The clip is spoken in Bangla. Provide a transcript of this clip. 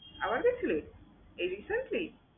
আবার গেছিলি? এই recently?